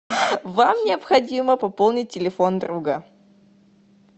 вам необходимо пополнить телефон друга